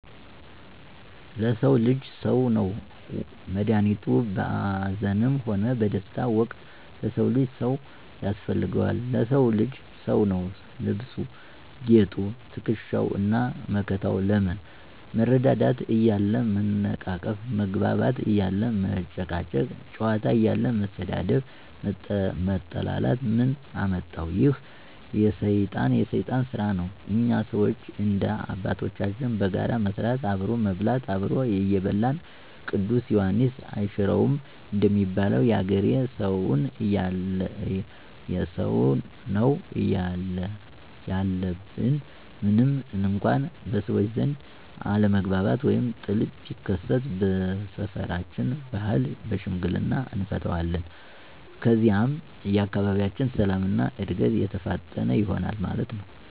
ለሰዉ ልጅ ሰዉ ነዉ መድኋኒቱ፣ በአዘንም ሆነ በደስታ ወቅት ለሰው ልጅ ሰው ያስፈልገዋል። ለሰዉ ልጅ ሰዉ ነዉ ልብሱ፣ ጌጡ፣ ትክሻዉ እና መከተው። ለምን መረዳዳት እያለ መነቃቀፍ፣ መግባባት እያለ መጨቃጨቅ፣ ጨዋታ እያለ መሰዳደብ መጠላላትን ምን አመጠው፤ ይህ የሰይጣን ስራ ነው። እኛ ሰዎች እንደ አባቶቻችን በጋራ መስራት፣ አብሮ መብላት "አብሮ የበላን ቅዱስ ዬሐንስ አይሽረውም"እንደሚለዉ የአገሬ ሰውነው ያለብን። ምንም እንኳ በሰዎች ዘንድ አለመግባባት ወይም ጥል ቢከሰት በሰፈራችን ባህል በሽምግልና አንፈተዋለን። ከዚያም የአካባቢያችን ሰላም እና እድገት የተፋጠነ ይሆናል ማለት ነው።